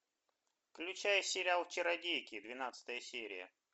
включай сериал чародейки двенадцатая серия